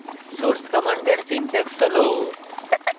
source command syntax হল